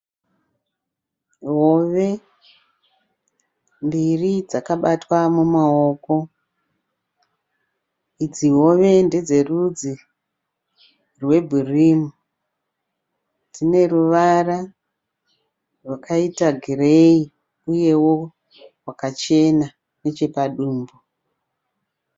Hove mbiri dzakabatwa mumaoko. Idzi hove ndedzerudzi rwebhirimu. Dzine ruvara rwakaita gireyi uyewo rwakachena nechepadumbu.